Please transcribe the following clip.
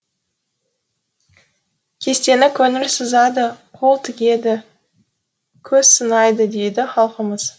кестені көңіл сызады қол тігеді көз сынайды дейді халқымыз